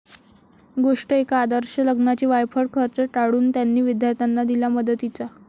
गोष्ट एका आदर्श लग्नाची! वायफळ खर्च टाळून 'त्यांनी' विद्यार्थ्यांना दिला मदतीचा